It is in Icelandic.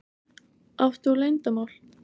Átt þú leyndarmál?